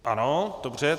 Ano, dobře.